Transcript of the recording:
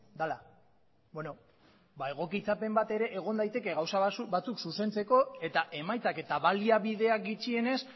dela bueno ba egokitzapen bat ere egon daiteke gauza batzuk zuzentzeko eta emaitzak eta baliabideak gutxienez